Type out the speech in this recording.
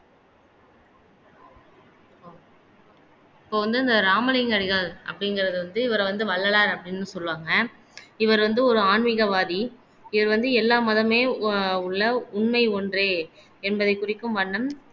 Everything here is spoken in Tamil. இப்ப வந்து இந்த ராமலிங்கம் அடிகள் அப்படிங்கிறது வந்து இவரை வந்து வள்ளலார் அப்படின்னு சொல்லுவாங்க இவர் வந்து ஒரு ஆன்மீகவாதி இவர் வந்து எல்லா மதமமே உ உள்ள உண்மை ஒன்றே என்பதை குறிக்கும் வண்ணம்